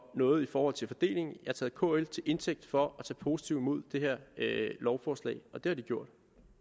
noget i forhold til fordelingen jeg har taget kl til indtægt for at tage positivt imod det her lovforslag og det har de gjort